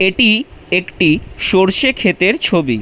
এটি একটি সরষে ক্ষেতের ছবি।